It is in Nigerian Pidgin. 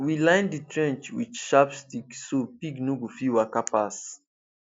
we line the trench with sharp stick so pig no go fit waka pass